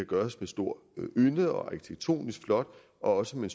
gøres med stor ynde og arkitektonisk flot og også med